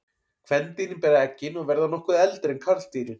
Kvendýrin bera eggin og verða nokkuð eldri en karldýrin.